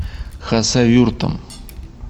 хасавюртом